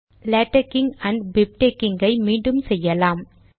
LaTeXing and BibTeXing ஐ மீண்டும் செய்யலாம்